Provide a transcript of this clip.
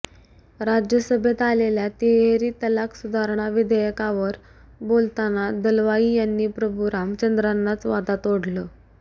राज्यसभेत आलेल्या तिहेरी तिलाक सुधारणा विधेयकावर बोलताना दलवाई यांनी प्रभु रामचंद्रानाच वादात ओढलं